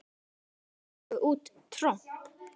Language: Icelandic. Bæði fengu út tromp.